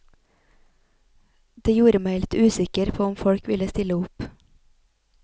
Det gjorde meg litt usikker på om folk ville stille opp.